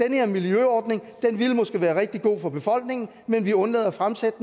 den her miljøordning ville måske være rigtig god for befolkningen men vi undlader at fremsætte